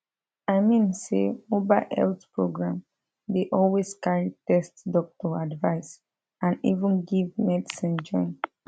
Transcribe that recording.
i mean say mobile health program dey always carry test doctor advice and even give medicine join